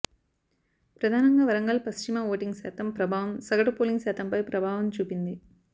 ప్రధానంగా వరంగల్ పశ్చిమ ఓటింగ్ శాతం ప్రభావం సగటు పోలింగ్ శాతంపై ప్రభావం చూపింది